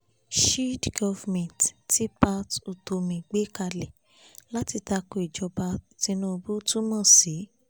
shield government tí pat utomi gbé kalẹ̀ láti takò ìjọba tìnùbù túmọ̀ sí